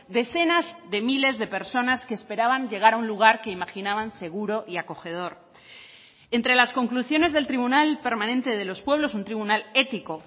decenas de miles de personas que esperaban llegar a un lugar que imaginaban seguro y acogedor entre las conclusiones del tribunal permanente de los pueblos un tribunal ético